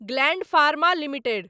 gland Pharma limited